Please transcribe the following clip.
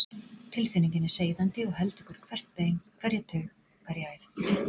Tilfinningin er seiðandi og heltekur hvert bein, hverja taug, hverja æð.